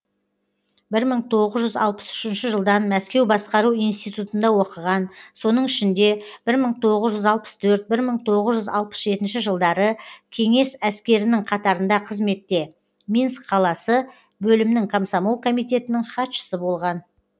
бір мың тоғыз жүз алпыс үшінші жылдан мәскеу басқару институтында оқыған соның ішінде бір мың тоғыз жүз алпыс төрт бір мың тоғыз жүз алпыс жетінші жылдары кеңес әскерінің қатарында қызметте минск қаласы бөлімнің комсомол комитетінің хатшысы болған